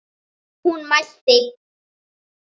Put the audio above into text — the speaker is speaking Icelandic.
Hún mælti: